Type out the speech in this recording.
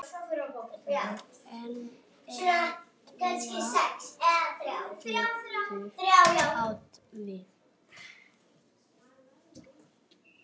Etna getur átt við